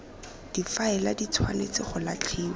difaele di tshwanetse go latlhiwa